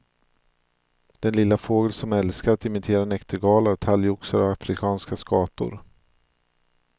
Den lilla fågel som älskar att imitera näktergalar, talgoxar och afrikanska skator.